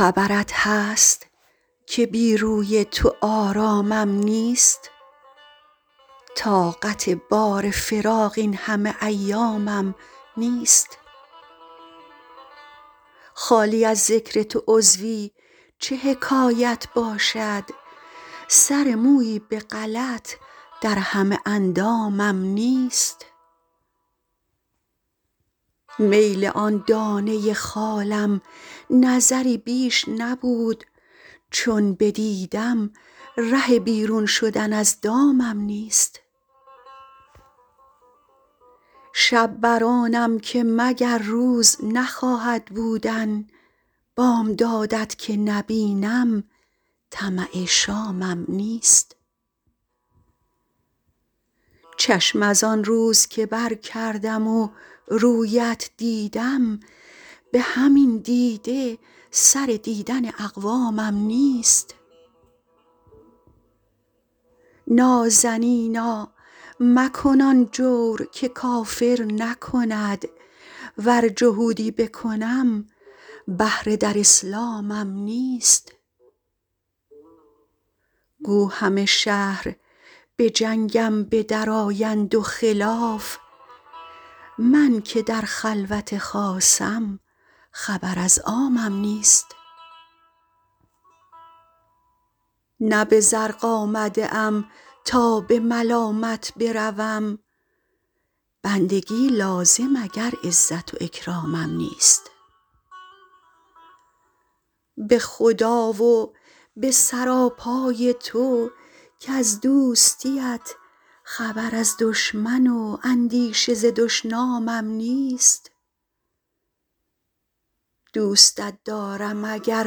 خبرت هست که بی روی تو آرامم نیست طاقت بار فراق این همه ایامم نیست خالی از ذکر تو عضوی چه حکایت باشد سر مویی به غلط در همه اندامم نیست میل آن دانه خالم نظری بیش نبود چون بدیدم ره بیرون شدن از دامم نیست شب بر آنم که مگر روز نخواهد بودن بامداد ت که نبینم طمع شامم نیست چشم از آن روز که برکردم و روی ات دیدم به همین دیده سر دیدن اقوامم نیست نازنینا مکن آن جور که کافر نکند ور جهودی بکنم بهره در اسلامم نیست گو همه شهر به جنگم به درآیند و خلاف من که در خلوت خاصم خبر از عامم نیست نه به زرق آمده ام تا به ملامت بروم بندگی لازم اگر عزت و اکرامم نیست به خدا و به سراپای تو کز دوستی ات خبر از دشمن و اندیشه ز دشنامم نیست دوستت دارم اگر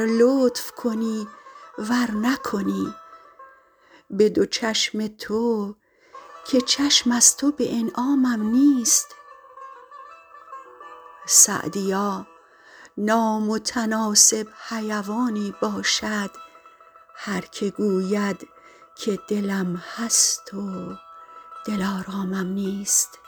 لطف کنی ور نکنی به دو چشم تو که چشم از تو به انعامم نیست سعدیا نامتناسب حیوانی باشد هر که گوید که دلم هست و دلآرامم نیست